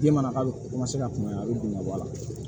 Den mana k'a bɛ ka kuma a bɛ dun ka bɔ a la